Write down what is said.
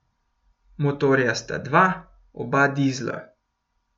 Motorja sta dva, oba dizla.